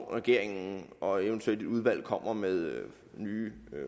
at regeringen og eventuelt et udvalg kommer med nye